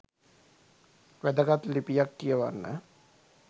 වැදගත් ලිපියක් කියවන්න